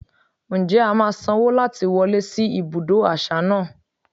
Ǹjẹ́ a máa sanwó láti wọlé sí ibùdó àṣà náà?